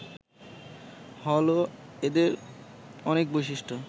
হল এদের অনেক বৈশিষ্ট্য